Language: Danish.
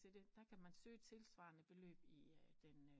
Til det kan man søge tilsvarende beløb i den